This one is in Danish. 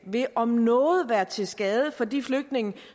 vil om noget være til skade for de flygtninge